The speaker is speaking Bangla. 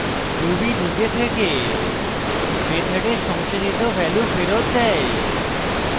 ruby নিজে থেকে method সংসাধিত value ফেরত দেয়